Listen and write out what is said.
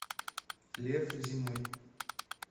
лев зимой